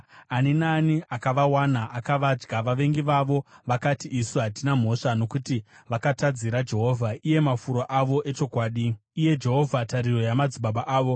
Ani naani akavawana akavadya; vavengi vavo vakati, ‘Isu hatina mhosva, nokuti vakatadzira Jehovha, iye mafuro avo echokwadi, iye Jehovha, tariro yamadzibaba avo.’